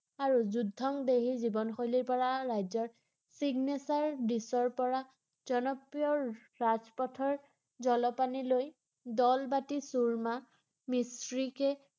আৰু যুদ্ধংদেহী জীৱন শৈলীৰ পৰা ৰাজ্যত চিগনেছাৰ দিছৰ পৰা জনপ্ৰিয় ৰাজপথৰ জলপানীলৈ দাল বাতি চুৰ্মা, মিছৰীকে